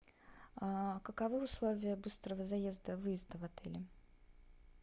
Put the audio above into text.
каковы условия быстрого заезда выезда в отеле